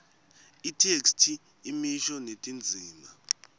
itheksthi imisho netindzima